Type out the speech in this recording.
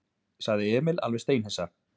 sagði Emil alveg steinhissa.